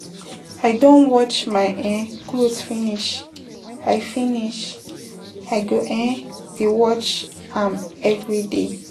I don watch my um cloth finish. I finish. I go um dey watch um everyday.